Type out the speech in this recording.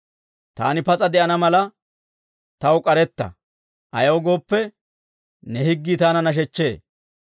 Taani pas'a de'ana mala, taw k'aretta; ayaw gooppe, ne higgii taana nashechchee.